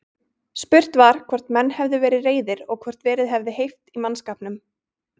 Spurt var, hvort menn hefðu verið reiðir og hvort verið hefði heift í mannskapnum?